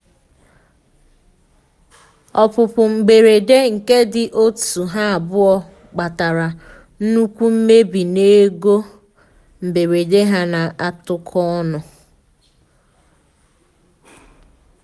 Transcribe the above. opupu mberede nke ndị òtù ha abụọ kpatara nnukwu mmebi na ego mberede ha na atuko onu.